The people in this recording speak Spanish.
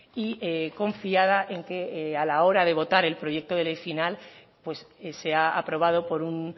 y confiada en que a la hora de votar el proyecto de ley final pues sea aprobado por un